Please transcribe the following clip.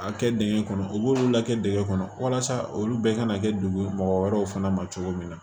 A kɛ dingɛ kɔnɔ u b'olu lakɛ dingɛ kɔnɔ walasa olu bɛɛ ka na kɛ dugu mɔgɔ wɛrɛw fana ma cogo min na